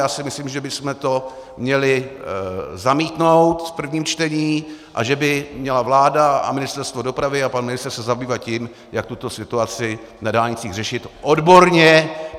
Já si myslím, že bychom to měli zamítnout v prvním čtení a že by měla vláda a Ministerstvo dopravy a pan ministr se zabývat tím, jak tuto situaci na dálnicích řešit odborně.